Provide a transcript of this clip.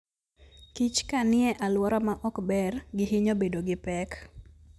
Kich kanie aluora maok ber gihinyo bedo gi pek.